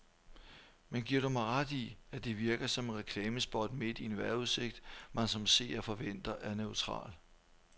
Men giver du mig ret i, at det virkede som et reklamespot midt i en vejrudsigt, man som seer forventer er neutral.